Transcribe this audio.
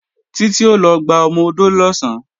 Títí ó lọ gba ọmọ-odó lọ̀sán